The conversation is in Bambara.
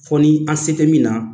Fɔ ni an se tɛ min na